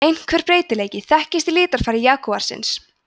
einhver breytileiki þekkist í litarfari jagúarsins